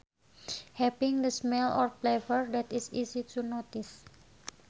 Having a smell or flavor that is easy to notice